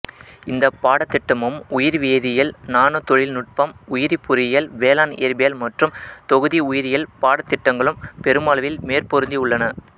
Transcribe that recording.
இந்த பாடத்திட்டமும் உயிர்வேதியியல் நானோ தொழில்நுட்பம் உயிரிப் பொறியியல் வேளாண்இயற்பியல் மற்றும் தொகுதி உயிரியல் பாடத்திட்டங்களும் பெருமளவில் மேற்பொருந்தி உள்ளன